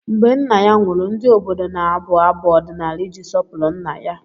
Mgbe nna ya nwụrụ, ndị obodo na-abụ abụ ọdịnala iji sọpụrụ nna ya.